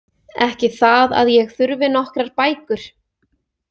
Ekki það að ég þurfi nokkrar bækur.